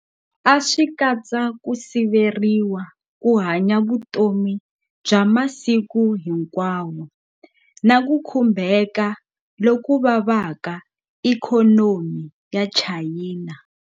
A swi katsa ku siveriwa ku hanya vutomi bya masiku hinkwawo na ku khumbheka loko vava eka ikhonomi ya China.